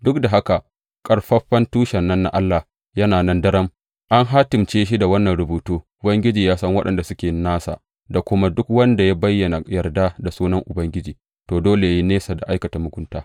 Duk da haka, ƙaƙƙarfan tushen nan na Allah yana nan daram, an hatimce shi da wannan rubutu, Ubangiji ya san waɗanda suke nasa, da kuma, Duk wanda ya bayyana yarda ga sunan Ubangiji, to, dole yă yi nesa da aikata mugunta.